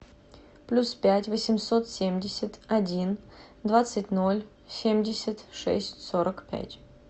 плюс пять восемьсот семьдесят один двадцать ноль семьдесят шесть сорок пять